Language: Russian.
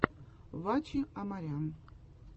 ваче амарян